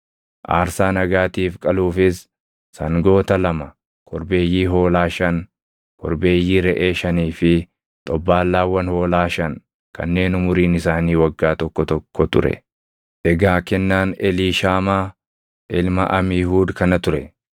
aarsaa nagaatiif qaluufis sangoota lama, korbeeyyii hoolaa shan, korbeeyyii reʼee shanii fi xobbaallaawwan hoolaa shan kanneen umuriin isaanii waggaa tokko tokko ture. Egaa kennaan Eliishaamaa ilma Amiihuud kana ture.